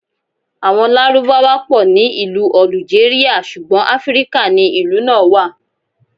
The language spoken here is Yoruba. Àwọn Lárúbáwá pọ̀ ní ìlú Ọ̀lùjérìà, ṣùgbọ́n Afíríkà ni ìlú náà wà.